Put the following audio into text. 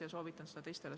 Ja soovitan seda ka teistele.